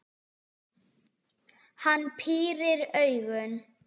Hann pírir augun.